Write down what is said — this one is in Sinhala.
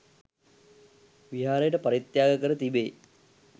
විහාරයට පරිත්‍යාග කර තිබේ.